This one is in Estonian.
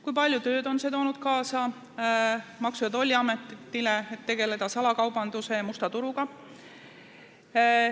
Kui palju tööd on see toonud kaasa Maksu- ja Tolliametile, et võidelda salakaubanduse ja musta turuga?